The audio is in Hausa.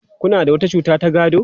Kuna da wata cuta ta gado?